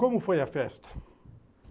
Como foi a festa?